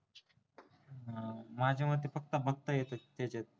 माझ्या मते फक्त बघता येत तिथे